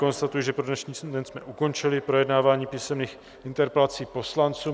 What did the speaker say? Konstatuji, že pro dnešní den jsme ukončili projednávání písemných interpelací poslanců.